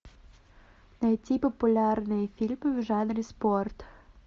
найти популярные фильмы в жанре спорт